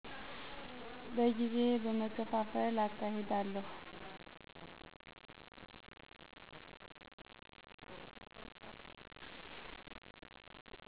በጊዜ በመከፍፍል አካሄዳለሁ።